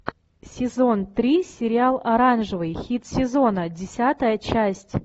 сезон три сериал оранжевый хит сезона десятая часть